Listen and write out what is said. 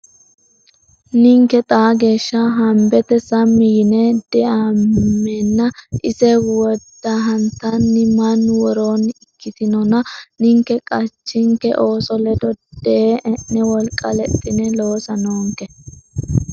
Ninke xaa geeshsha hambete sammi yine deammeenna ise wodahantanni mannu woroonni ikkitinona, ninke qachinke ooso ledo dee e’ne wolqa lexxine loosa noonke.